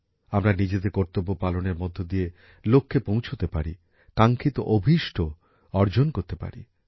আমরা নিজেদের কর্তব্য পালনের মধ্যে দিয়েই লক্ষে পৌঁছতে পারি কাঙ্ক্ষিত অভিষ্ট অর্জন করতে পারি